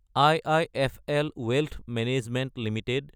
IIFL wealth management Ltd